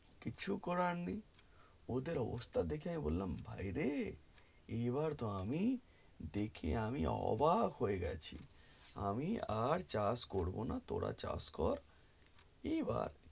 কিছু করার নেই ওদের অবস্থা দেখে আমি বললাম ভাই রে এবার তো আমি দেখে আমি তো এবার অবাক হয়ে গেছি আমি আর চাষ করবো না তোরা চাষ কর এবার